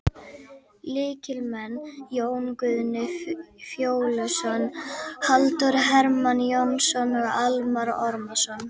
Lykilmenn: Jón Guðni Fjóluson, Halldór Hermann Jónsson og Almarr Ormarsson.